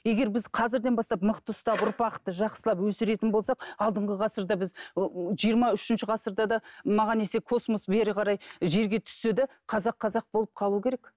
егер біз қазірден бастап мықты ұстап ұрпақты жақсылап өсіретін болсақ алдыңғы ғасырда біз ы жиырма үшінші ғасырда да маған десе космос бері қарай жерге түссе де қазақ қазақ болып қалуы керек